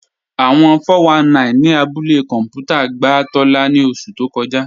Awọ́n 419 ni àbúlẹ̀ kọnpútà gbà Tóla ni ọṣu tó kọ́jà